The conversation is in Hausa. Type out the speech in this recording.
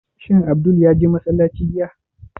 Shin Abdul ya je masallaci jiya?